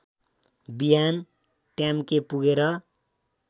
बिहान ट्याम्के पुगेर